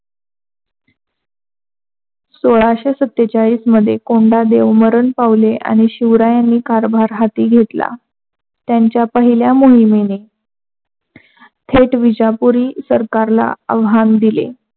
सोलाशे सत्तेचालीस मध्ये कोंडदेव मरण पावले आणि शिवरायाने कारभार हाती घेतला, त्यांच्या पहिल्या मोहिमेने थेट विजापुरी सरकारला आवाहन दिले.